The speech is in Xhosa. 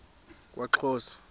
kwaxhosa